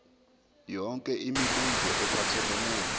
yonke imibuzo ephathelene